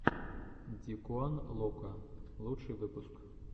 дикуан локо лучший выпуск